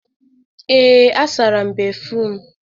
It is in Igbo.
Ee, asara m béfrụm.